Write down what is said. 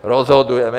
Rozhodujeme.